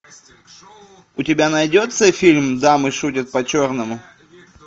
у тебя найдется фильм дамы шутят по черному